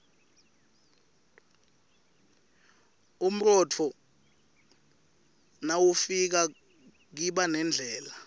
umrotfo nawifika kiba nendlala